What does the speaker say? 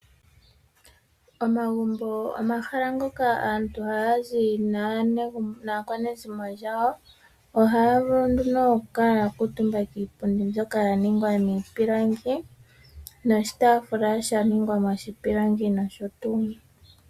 Omagumbo ogo omahala ngoka aantu haya zi naakwanezimo lyawo. Ohaya vulu nduno okukala ya kuutumba kiipundi mbyono ya ningwa miipilangi noshitaafula sha ningwa moshipilangi nosho tuu.